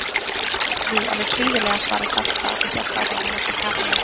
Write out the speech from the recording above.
Jú, alveg prýðilega svaraði Dadda og hélt áfram að leggja kapalinn.